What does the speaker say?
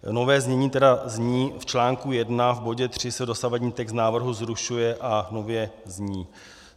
Nové znění tedy je: "V článku 1 v bodě 3 se dosavadní text návrhu zrušuje a nově zní".